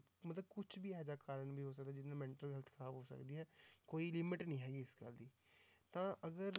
ਮਤਲਬ ਕੁਛ ਵੀ ਇਹ ਜਿਹਾ ਕਾਰਨ ਵੀ ਹੋ ਸਕਦਾ ਜਿਹਦੇ ਨਾਲ mental health ਖ਼ਰਾਬ ਹੋ ਸਕਦੀ ਹੈ, ਕੋਈ limit ਨੀ ਹੈਗੀ ਇਸ ਗੱਲ ਦੀ, ਤਾਂ ਅਗਰ